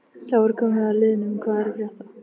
Þá er komið að liðnum Hvað er að frétta?